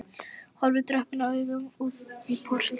Horfði döprum augum út í portið.